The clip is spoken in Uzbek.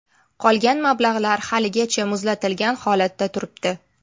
Qolgan mablag‘lar haligacha muzlatilgan holatda turibdi.